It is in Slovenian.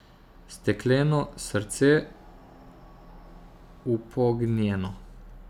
Stekleno srce, upognjeno.